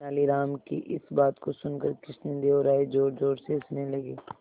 तेनालीराम की इस बात को सुनकर कृष्णदेव राय जोरजोर से हंसने लगे